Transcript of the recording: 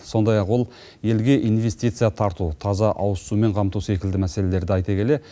сондай ақ ол елге инвестиция тарту таза ауызсумен қамту секілді мәселелерді айта келе